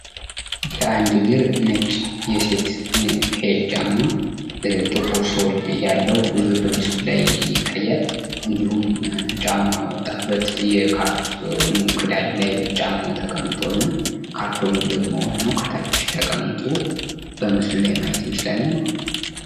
የአንድ እግር የሴት ነጭ ሂል ጫማ ጥቁር ሶል ያለው በምስሉ ላይ ይታያል ።እንዲሁም ጫማው የወጣበት የካርቶኑ ክዳን ላይ ጫማው ተቀምጦ እና ካርቶኑ ደግሞ ዋናው ከታች ተቀምጦ በምስሉ ላይ ማየት እንችላለን።